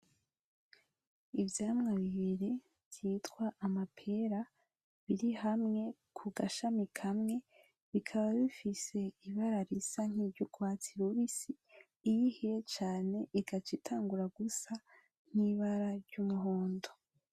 Ivyamwa bibiri vyitwa amapera biri hamwe ku gashami kamwe bikaba bifise ibara risa n’urwatsi rubisi iyo ihiye cane igaca itangura gusa n’ibara ry’umuhondo.